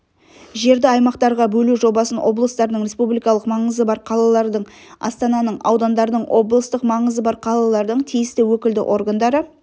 жерді аймақтарға бөлу жобасын облыстардың республикалық маңызы бар қалалардың астананың аудандардың облыстық маңызы бар қалалардың тиісті өкілді органдары